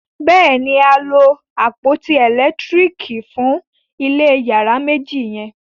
béèni a lo àpótí elekitiriki fun ilé iyàrá méjì yen.